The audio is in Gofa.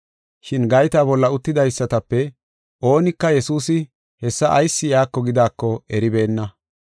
Shin gayta bolla uttidaysatape oonika Yesuusi hessa ayis iyako gidaako eribeenna.